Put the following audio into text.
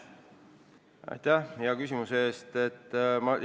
Aitäh hea küsimuse eest!